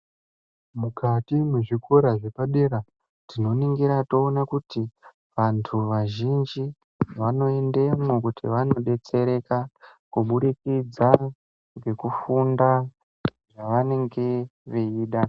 Mukati mwezvikora zvepadera tinoningira toona kuti vantu vazhinji vanoendemwo kuti vanobetsereka. Kubudikidza ngekufunda zvavanenge veida.